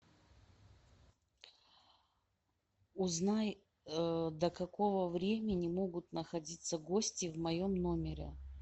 узнай до какого времени могут находиться гости в моем номере